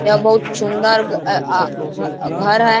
यहां बहुत सुंदर आ आ घ घर है।